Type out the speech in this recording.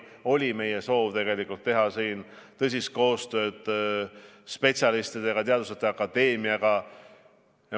Meie soov on teha selles vallas tõsist koostööd spetsialistidega, teaduste akadeemiaga.